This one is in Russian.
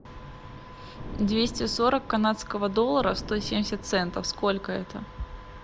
двести сорок канадского доллара сто семьдесят центов сколько это